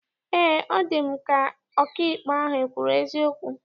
Eé, ọ dị m ka ọkaikpe ahụ ekwuru eziokwu.